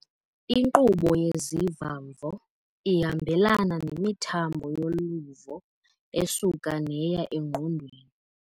Inkqubo yeziva-mvo ihambelana nemithambo yoluvo esuka neya engqondweni.